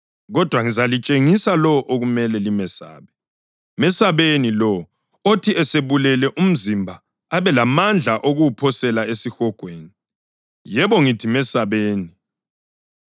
Kodwa ngizalitshengisa lowo okumele limesabe: Mesabeni lowo, othi esebulele umzimba, abe lamandla okuwuphosela esihogweni. Yebo, ngithi mesabeni.